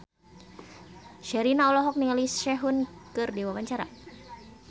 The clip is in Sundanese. Sherina olohok ningali Sehun keur diwawancara